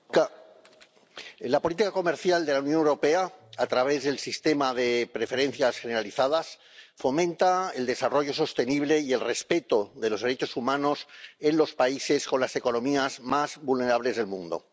Señora presidenta, la política comercial de la Unión Europea, a través del Sistema de Preferencias Generalizadas, fomenta el desarrollo sostenible y el respeto de los derechos humanos en los países con las economías más vulnerables del mundo.